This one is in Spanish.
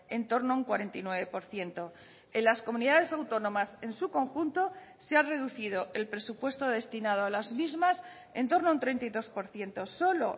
en torno a un cuarenta y nueve por ciento en las comunidades autónomas en su conjunto se ha reducido el presupuesto destinado a las mismas en torno a un treinta y dos por ciento solo